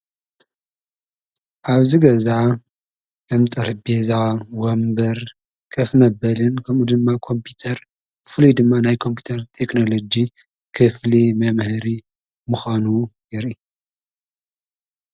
ኣብዚ ገዛ ከም ጠረጴዛ፣ ወንበር፣ ከፍ መበልን ከምኡ ድማ ኮምፒተር ብፍሉይ ናይ ኮምፒተር ቴክኖሎጂ ክፍሊ መምሃሪ ምዃኑ የርኢ፡፡